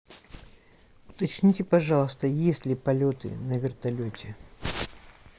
уточните пожалуйста есть ли полеты на вертолете